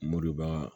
Mɔbiliba